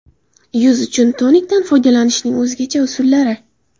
Yuz uchun tonikdan foydalanishning o‘zgacha usullari.